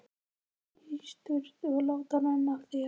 Fara í sturtu og láta renna af þér.